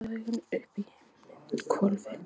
Hann pírði augun upp í himinhvolfið.